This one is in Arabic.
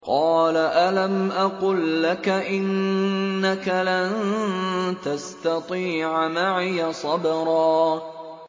۞ قَالَ أَلَمْ أَقُل لَّكَ إِنَّكَ لَن تَسْتَطِيعَ مَعِيَ صَبْرًا